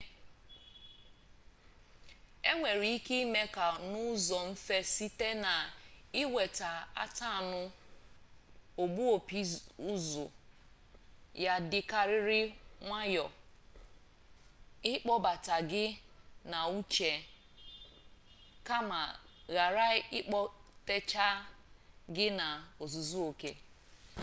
enwere ike ime ka n'uzo mfe site na iweta atanu ogbu-opi uzu ya dikariri nwayo ikpobata gi na uche kama ghara ikpotecha gi na-ozuzuoke